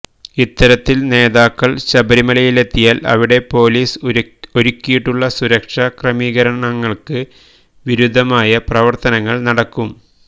ഇത്തരത്തിൽ നേതാക്കൾ ശബരിമലയിലെത്തിയാൽ അവിടെ പൊലീസ് ഒരുക്കിയിട്ടുള്ള സുരക്ഷ ക്രമീകരണങ്ങൾക്ക് വിരുദ്ധമായ പ്രവർത്തനങ്ങൾ നടക്കും